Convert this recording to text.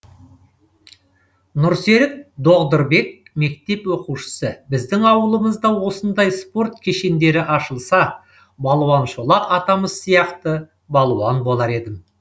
нұрсерік доғдырбек мектеп оқушысы біздің ауылымызда осындай спорт кешендері ашылса балуан шолақ атамыз сияқты балуан болар едім